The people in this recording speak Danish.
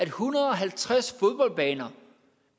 hundrede og halvtreds fodboldbaner